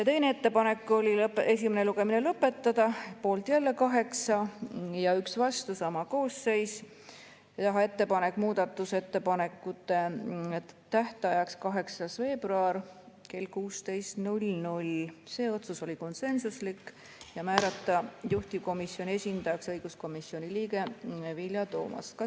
Teine ettepanek oli esimene lugemine lõpetada – poolt 8 ja 1 vastu, sama koosseis –, teha ettepanek määrata muudatusettepanekute tähtajaks 8. veebruar kell 16 – see otsus oli konsensuslik – ja määrata juhtivkomisjoni esindajaks õiguskomisjoni liige Vilja Toomast.